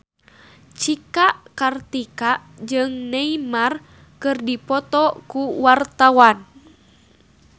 Cika Kartika jeung Neymar keur dipoto ku wartawan